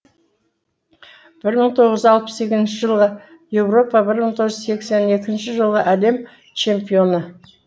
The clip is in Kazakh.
бір мың тоғыз жүз алпыс сегізінші жылғы еуропа бір мың тоғыз жүз сексен екінші жылғы әлем чемпионы